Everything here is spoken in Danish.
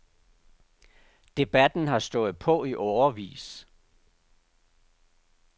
Debatten har stået på i årevis.